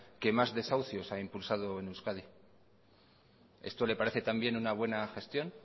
que más desahucios ha impulsado en euskadi esto le parece también una buena gestión